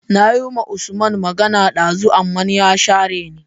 Nayi wa usman magana ɗazu aman ya share ni